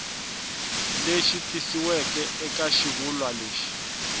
lexi tikisiweke eka xivulwa lexi